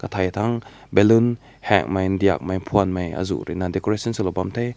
tai tang balloon heng mai dek mei phün mei aazu ruina decoration su lao bam teh.